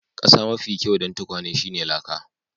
Kasa mafi kyau dan tukwane shine laka.